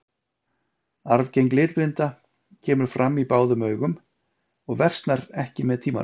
Arfgeng litblinda kemur fram á báðum augum og versnar ekki með tímanum.